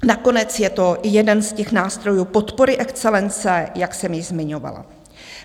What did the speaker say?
Nakonec je to jeden z těch nástrojů podpory excelence, jak jsem již zmiňovala.